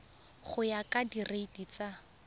go ya ka direiti tsa